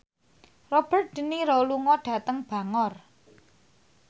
Robert de Niro lunga dhateng Bangor